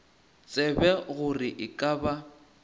tsebe gore e ka ba